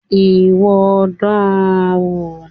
Ìwọ dán an wò.